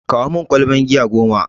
Kawo mun ƙwalban giya goma!